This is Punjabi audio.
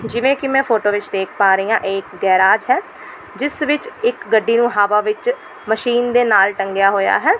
ਜਿਵੇਂ ਕੀ ਮੈਂ ਫ਼ੋਟੋ ਵਿੱਚ ਦੇਖ ਪਾਂ ਰਹੀਂ ਆਂ ਏਕ ਗੈਰਾਜ ਹੈ ਜਿਸ ਵਿੱਚ ਇੱਕ ਗੱਡੀ ਨੂੰ ਹਵਾ ਵਿੱਚ ਮਸ਼ੀਨ ਦੇ ਨਾਲ ਟੰਗਿਆ ਹੋਇਆ ਹੈ।